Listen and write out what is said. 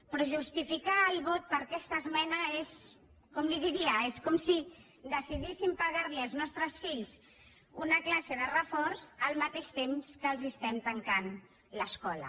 però justificar el vot per aquesta esmena és com li ho diria com si decidíssim pagar als nostre fills una classe de reforç al mateix temps que els estem tancant l’escola